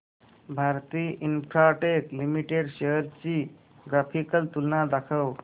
Bharti Infratel limited shares ची graphical तुलना दाखव